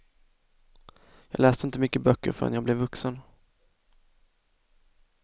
Jag läste inte mycket böcker förrän jag blev vuxen.